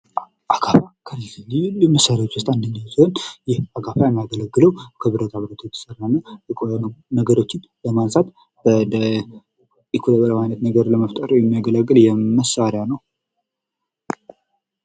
አካፋ: መሬትን ለመቆፈር፣ ለመገልበጥ እና ለመጫን የሚያገለግል በእጅ የሚሰራ መሳሪያ ነው። ሰፊና ጠፍጣፋ ምላጭ ያለው ሲሆን እጀታው ከእንጨት ወይም ከብረት ይሠራል።